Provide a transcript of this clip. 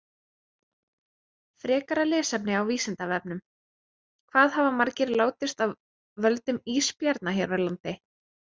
Frekara lesefni á Vísindavefnum: Hvað hafa margir látist af völdum ísbjarna hér á landi?